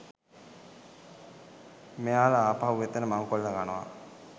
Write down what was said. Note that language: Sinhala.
මෙයාල ආපහු එතන මංකොල්ල කනවා